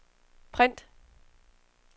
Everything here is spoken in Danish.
print